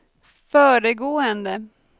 föregående